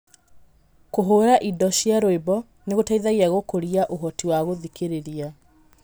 Kũhũũra indo cia rwĩmbo nĩ gũteithagia gũkũria ũhoti wa gũthikĩrĩria.